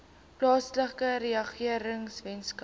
plaaslike regering weskaapse